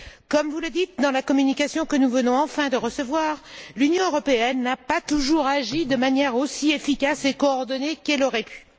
Comme vous le dites dans la communication que nous venons enfin de recevoir, l'Union européenne n'a pas toujours agi de manière aussi efficace et coordonnée qu'elle aurait pu.